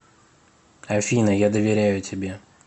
афина я доверяю тебе